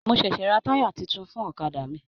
Mo ṣẹṣẹ ra taya títún fún ọ̀kàdà mí.